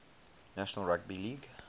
national rugby league